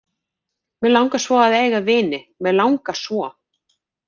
Mig langar svo að eiga vini, mig langar svo.